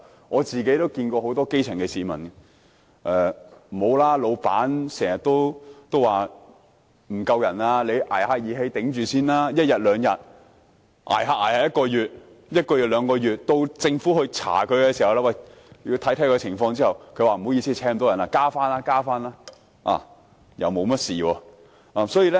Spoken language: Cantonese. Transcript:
我聽到很多基層市民表示，老闆經常說人手不足，叫他們"捱義氣"支撐一兩天，漸漸便是1個月、1個月變2個月；到政府進行調查時，老闆便回應："不好意思，我聘請不到人，之後會增聘人手"，然後便不了了之。